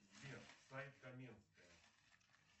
сбер сайт каменская